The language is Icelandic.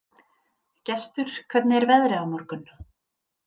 Gestur, hvernig er veðrið á morgun?